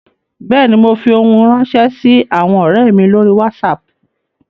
Bẹ́ẹ̀ ni, mo fi ohun ránṣẹ́ sí àwọn ọ̀rẹ́ mi lórí Wásaapù